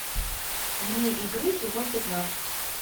вне игры сезон пятнадцать